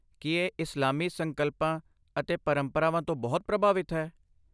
ਕੀ ਇਹ ਇਸਲਾਮੀ ਸੰਕਲਪਾਂ ਅਤੇ ਪਰੰਪਰਾਵਾਂ ਤੋਂ ਬਹੁਤ ਪ੍ਰਭਾਵਿਤ ਹੈ?